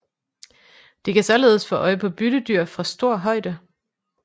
De kan således få øje på byttedyr fra stor højde